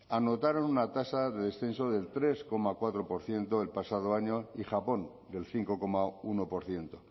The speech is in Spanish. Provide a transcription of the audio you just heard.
anotaron una tasa de descenso del tres coma cuatro por ciento el pasado año y japón del cinco coma uno por ciento